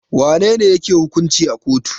Wa nene yake hukunci a kotu?